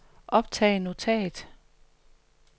optag notat